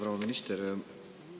Proua minister!